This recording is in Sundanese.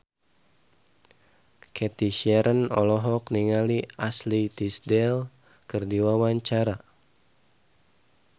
Cathy Sharon olohok ningali Ashley Tisdale keur diwawancara